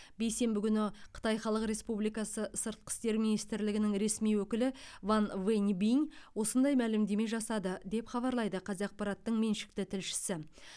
бейсенбі күні қытай халық республикасы сыртқы істер министрлігінің ресми өкілі ван вэньбинь осындай мәлімдеме жасады деп хабарлайды қазақпараттың меншікті тілшісі